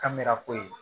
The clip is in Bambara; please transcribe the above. Kamera kojugu